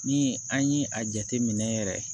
Ni an ye a jateminɛ yɛrɛ